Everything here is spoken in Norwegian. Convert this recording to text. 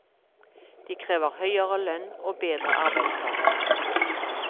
De krever høyere lønn og bedre arbeidsforhold.